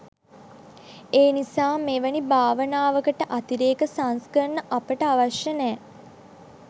ඒනිසා මෙවැනි භාවනාවකට අතිරේක සංස්කරණ අපට අවශ්‍ය නෑ